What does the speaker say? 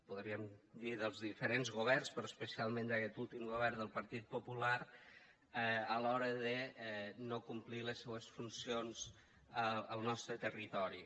podríem dir dels diferents governs però especialment d’aquest últim govern del partit popular a l’hora de no complir les seues funcions al nostre territori